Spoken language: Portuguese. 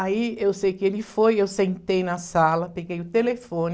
Aí, eu sei que ele foi, eu sentei na sala, peguei o telefone,